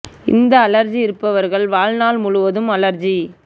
இந்த அலர்ஜி இருப்பவர்கள் வாழ்நாள் முழுவதும் அலர்ஜி